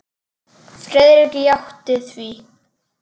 Friðrik játti því.